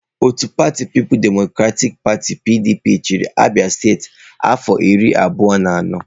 Otu pati People's Democratic Party (PDP) chịrị Abia steeti afọ iri abụọ na anọ.